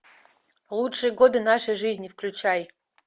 лучшие годы нашей жизни включай